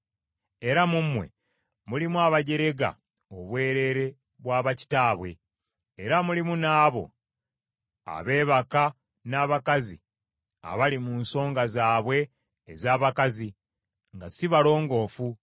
Era mu mmwe mulimu abajerega obwereere bwa bakitaabwe, era mulimu n’abo abeebaka n’abakazi abali mu nsonga zaabwe ez’abakazi nga si balongoofu.